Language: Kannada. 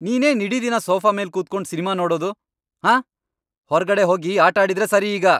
ನೀನೇನ್ ಇಡೀ ದಿನ ಸೋಫಾ ಮೇಲ್ ಕೂತ್ಕೊಂಡ್ ಸಿನ್ಮಾ ನೋಡೋದು, ಆಂ? ಹೊರ್ಗಡೆ ಹೋಗಿ ಆಟಾಡಿದ್ರೇ ಸರಿ ಈಗ!